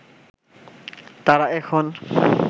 তারা এখন